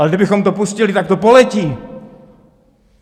Ale kdybychom to pustili, tak to poletí!